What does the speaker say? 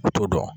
U t'o dɔn